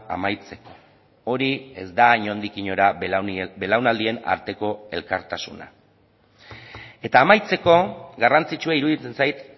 amaitzeko hori ez da inondik inora belaunaldien arteko elkartasuna eta amaitzeko garrantzitsua iruditzen zait